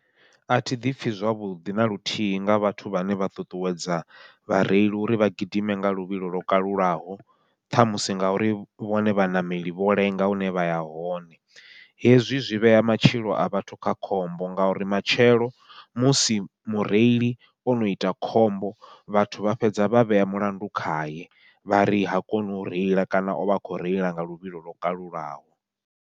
Athi ḓipfhi zwavhuḓi naluthihi nga vhathu vhane vha ṱuṱuwedza vhareili uri vha gidime nga luvhilo lwo kalulaho, ṱhamusi ngauri vhone vhaṋameli vho lenga hune vha ya hone. Hezwi zwi vhea matshilo a vhathu kha khombo, ngauri matshelo musi mureili ono ita khombo vhathu vha fhedza vha vhea mulandu khaye, vha ri ha koni u reila kana ovha a khou reila nga luvhilo lwo kalulaho.